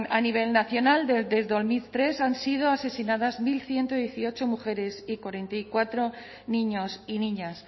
a nivel nacional desde dos mil tres han sido asesinadas mil ciento dieciocho mujeres y cuarenta y cuatro niños y niñas